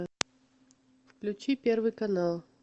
включи первый канал